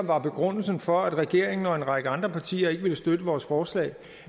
var begrundelsen for at regeringen og en række andre partier ikke ville støtte vores forslag